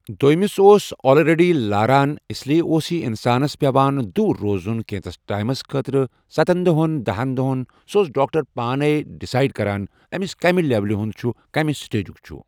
دٔیمِس اوس اولریڈی لاران اس لیے اوس یہِ اِنسانس پیوان دوٗر روزُن کینٚژَھس ٹایمَس خٲطرٕ سَتن دۄہَن دہَن دۄہَن سُہ اوس ڈاکٹر پانے ڈِسیڑ کران أمِس کَمہِ لیولہِ ہُنٛد چھُ کَمہِ سِٹیجُک چھُ ۔